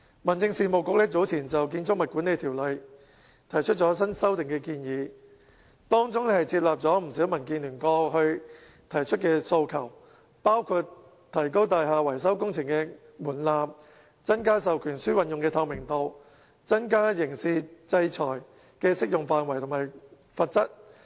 民政事務局早前就《建築物管理條例》提出新修訂建議，當中接納不少民建聯過去提出的訴求，包括提高大廈維修工程的門檻，增加授權書運用的透明度、增加刑事制裁的適用範圍及罰則。